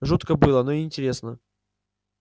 жутко было но и интересно